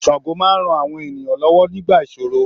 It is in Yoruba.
Sango máa ran àwọn ènìyàn lọ́wọ́ nígbà ìṣòro.